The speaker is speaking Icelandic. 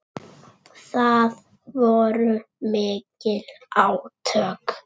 Það voru mikil átök.